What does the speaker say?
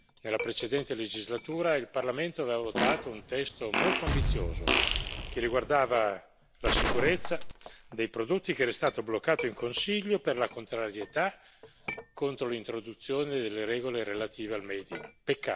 Nella precedente legislatura, il Parlamento aveva votato un testo molto ambizioso che riguardava la sicurezza dei prodotti e che era stato bloccato in Consiglio per la contrarietà contro l'introduzione delle regole relative al made in.